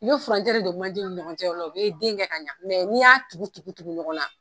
I bɛ furancɛ de don manjew ni ɲɔgɔn cɛ o la u bɛ den kɛ ka ɲɛ n'i y'a tugu-tugu-tugu ɲɔgɔn na